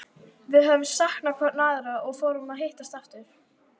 Við höfðum saknað hvor annarrar og fórum að hittast aftur.